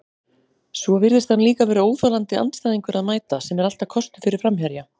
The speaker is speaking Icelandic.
Svo virðist hann líka vera óþolandi andstæðingur að mæta, sem er alltaf kostur fyrir framherja.